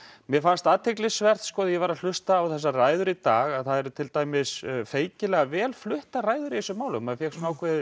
mér fannst athyglisvert þegar ég var að hlusta á þessar ræður í dag að það eru feikilega vel fluttar ræður í þessu máli maður fékk